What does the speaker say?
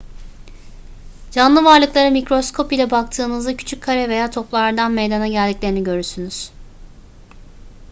canlı varlıklara mikroskop ile baktığınızda küçük kare veya toplardan meydana geldiklerini görürsünüz